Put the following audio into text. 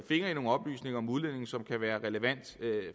nogle oplysninger om udlændinge som kan være relevante